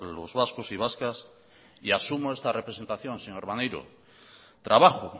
los vascos y vascas y asumo esa representación señor maneiro trabajo